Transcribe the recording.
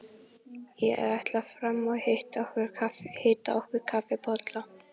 Ég ætla fram og hita okkur kaffisopa.